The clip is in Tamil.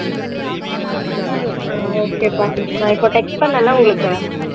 ஆஹ் okay ப்பா நான் இப்ப text பண்ணல்ல உங்களுக்கு